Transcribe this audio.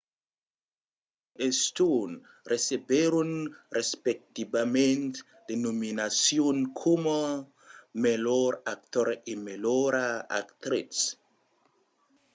gosling e stone recebèron respectivament de nominacions coma melhor actor e melhora actritz